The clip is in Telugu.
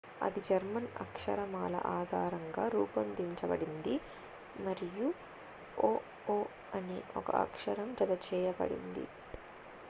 "అది జర్మన్ అక్షరమాల ఆధారంగా రూపొందించబడింది మరియు "õ/õ" అనే ఒక అక్షరం జత చేయబడింది.